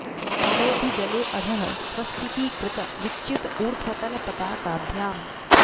पयोधि जले अधः स्वस्तिकी कृत विच्युत ऊर्ध्व तल पताकाभ्याम्